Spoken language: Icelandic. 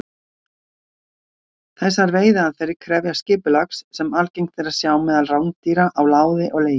Þessar veiðiaðferðir krefjast skipulags sem algengt er að sjá meðal rándýra, á láði og legi.